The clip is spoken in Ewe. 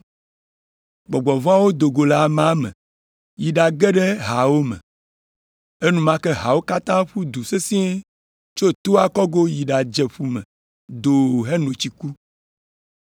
Gbɔgbɔ vɔ̃awo do go le amea me yi ɖage ɖe haawo me. Enumake haawo katã ƒu du sesĩe tso toa kɔgo yi ɖadze ƒu me doo heno tsi ku.